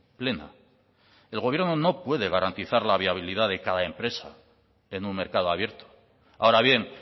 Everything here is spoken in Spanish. plena el gobierno no puede garantizar la viabilidad de cada empresa en un mercado abierto ahora bien